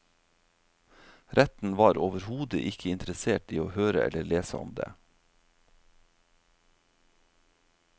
Retten var overhodet ikke interessert i å høre eller lese om det.